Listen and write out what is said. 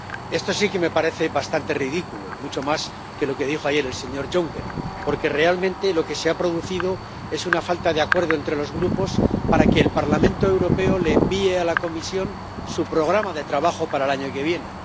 Esto sí que me parece bastante ridículo, mucho más que lo que dijo ayer el señor Juncker, porque realmente lo que se ha producido es una falta de acuerdo entre los Grupos para que el Parlamento Europeo le envíe a la Comisión su programa de trabajo para el año que viene.